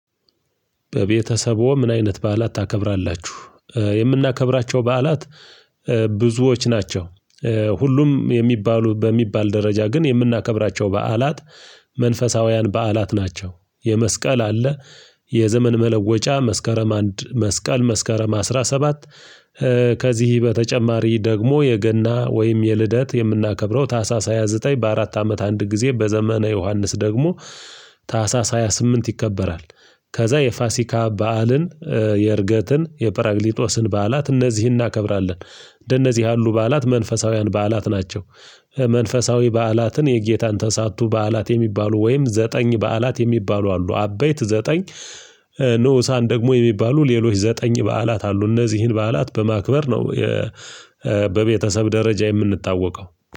በቤተሰቡ ምን አይነት በዓላት ታከብራላችሁ? የምናከብራቸው በዓላት ብዙዎች ናቸው ሁሉም የሚባሉ በሚባል ደረጃ ግን የምናከብራቸው በዓላት መንፈሳውያን በዓላት ናቸው፤ የመስቀል አለ የዘመን መለወጫ መስከረም አንድ መስቀል መስከረም አስራ ሰባት ከዚህ በተጨማሪ ደግሞ የገና ወይም የልደት የምናከብረው ታህሳስ ሃያ ዘጠኝ አመት አንድ ጊዜ በዘመነ ዮሐንስ ደግሞ ታህሳስ ሃያ ስምንት ይከበራል ከዛ የፋሲካ በዓልን የእርገትን የጰራቅሊጦስን በዓላት እነዚህን እናከብራለን፤ እንደነዚህ ያሉ በዓላት መንፈሳዊያን በዓላት ናቸው፤ መንፈሳዊ በዓላትን የጌታን ተሳቱ በዓላት የሚባሉ ወይም ዘጠኝ በዓላት የሚባሉ አሉ፤ አበይት ዘጠኝ ንኡሳን ደግሞ የሚባሉ ሌሎች ዘጠኝ በዓላት አሉ እነዚህን በዓላት በማክበር ነው በቤተሰብ ደረጃ የምንታወቀው።